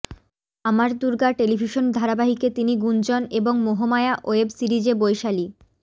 আমার দূর্গা টেলিভিশন ধারাবাহিকে তিনি গুঞ্জন এবং মোহমায়া ওয়েব সিরিজে বৈশালী